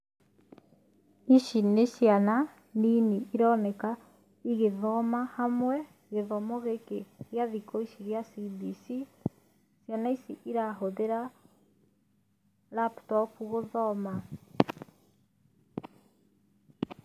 Ici nĩ ciana nini ironeka igĩthoma hamwe, gĩthomo gĩkĩ gĩa thikũ ici gĩa CBC. Ciana ici irahũthĩra laptop gũthoma.